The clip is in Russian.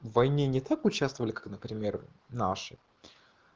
войне не так участвовали как например наши